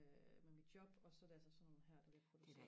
øh med mit job og så er det altså sådan nogle her der bliver produceret